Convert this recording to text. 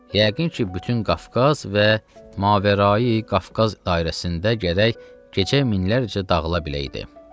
yəqin ki, bütün Qafqaz və Mavarai Qafqaz dairəsində gərək gecə minlərlə dağıla biləyidi.